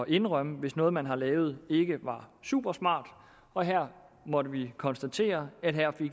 indrømme hvis noget man har lavet ikke er supersmart og her måtte vi konstatere at